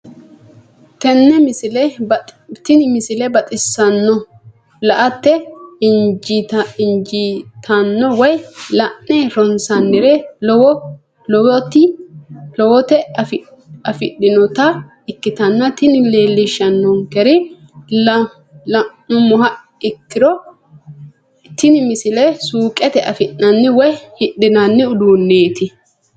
tenne misile baxisannonna la"ate injiitanno woy la'ne ronsannire lowote afidhinota ikkitanna tini leellishshannonkeri la'nummoha ikkiro tini misile suuqete afi'nanni woy hidhinanni uduunneeti.